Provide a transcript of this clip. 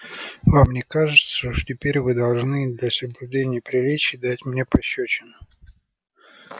вам не кажется что теперь вы должны для соблюдения приличий дать мне пощёчину